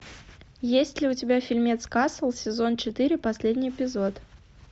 есть ли у тебя фильмец касл сезон четыре последний эпизод